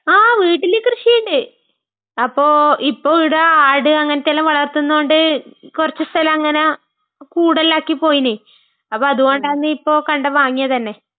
ങാ, വീട്ടില് കൃഷി ഉണ്ട്. അപ്പൊ ഇപ്പൊ ഇവിടെ ആട് അങ്ങനത്തെയെല്ലാം വളർത്തുന്നൊണ്ട് കുറച്ചു സ്ഥലം അങ്ങന കൂടെല്ലാം ആക്കി പോയിന്. അപ്പൊ അതുകൊണ്ടാണിപ്പോ കണ്ടം വാങ്ങിയത് തന്നെ.